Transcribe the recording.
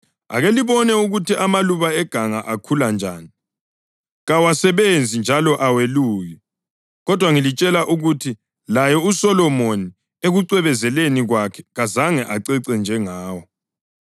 Ake libone ukuthi amaluba eganga akhula njani. Kawasebenzi njalo aweluki. Kodwa ngilitshela ukuthi laye uSolomoni ekucwebezeleni kwakhe kazange acece njengawo.